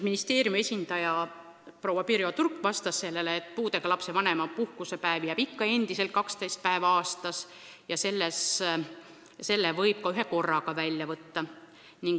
Ministeeriumi esindaja proua Turk vastas sellele, et puudega lapse vanema puhkusepäevi jääb ikka endiselt 12 päeva aastas ja selle võib ka ühekorraga välja võtta.